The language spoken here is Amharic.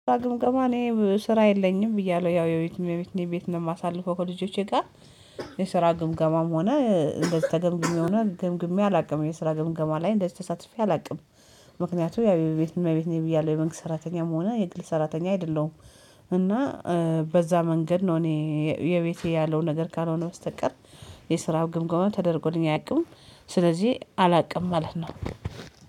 ግምገማ እኔ ስራ የለኝም ብዬ አለው ያው የቤት እኔ ቤት ነው የማሳልፈው ከልጆቼ ጋር። የስራ ግምገማም ሆነ እንደዚህ ተገምግሜ ሆነ ግምግሜ አላውቅም የስራ ግምገማ ላይ እንደዚህ ተሳትፌ አላውቅም። ምክንያቱም ያቤት እመቤት እመቤቴን ብያለሁ የመንግስት ሰራተኛም ሆነ የግል ሰራተኛ አይደለሁም። እና በዛ መንገድ ነው እኔ የቤቴ ያለው ነገር ካልሆነ በስተቀር። የስራው ግምገማ ተደርጎልኝ አያውቅም። ስለዚህ አላውቅም ማለት ነው።